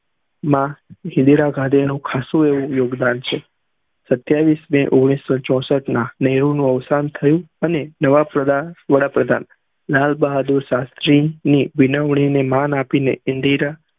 માં ઇન્દિરા ગાંધી નું ખાસું એવું યોગદાન છે સત્યાવીસ ને ઓઘ્નીશ સૌ ચૌશટ ના નેહરુ ની અવશાન થયું અને નવા પ્રધાન લાલ ભાહાદુર શાસ્ત્રી ની માન આપી ને ઇન્દિરા